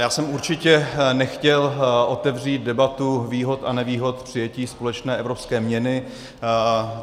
Já jsem určitě nechtěl otevřít debatu výhod a nevýhod přijetí společné evropské měny.